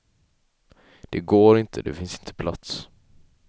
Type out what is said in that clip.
Det går inte, det finns inte plats.